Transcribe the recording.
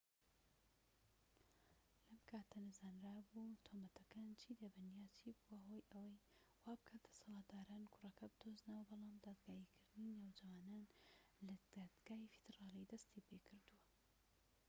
لەم کاتەدا نەزانرابوو تۆمەتەکان چی دەبن یان چی بووە هۆی ئەوەی وابکات دەسەڵاتداران کوڕەکە بدۆزنەوە بەڵام دادگاییکردنی نەوجەوانان لە دادگای فیدرالی دەستی پێکردووە